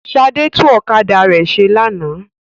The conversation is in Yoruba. Ṣadé tún ọ̀kadà rẹ̀ ṣe lánàá.